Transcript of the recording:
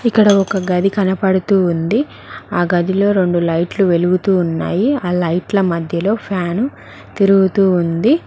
ఇక్కడ ఒక గది కనపడుతూ ఉంది ఆ గదిలో రెండు లైట్లు వెలుగుతూ ఉన్నాయి ఆ లైట్ల మధ్యలో ఫ్యాను తిరుగుతూ ఉంది.